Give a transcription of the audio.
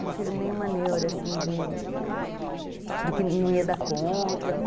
Não tive nenhuma neura, assim, de que não ia dar conta.